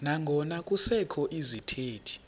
nangona kusekho izithethi